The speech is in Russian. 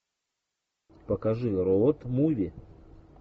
покажи роад муви